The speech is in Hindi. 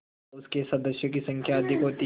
तथा उनके सदस्यों की संख्या अधिक होती है